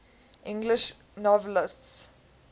english novelists